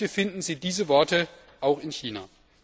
Bitte finden Sie diese Worte auch in China.